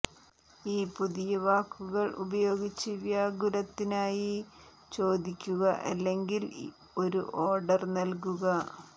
ഈ പുതിയ വാക്കുകൾ ഉപയോഗിച്ചു വ്യാകുലത്തിനായി ചോദിക്കുക അല്ലെങ്കിൽ ഒരു ഓർഡർ നൽകുക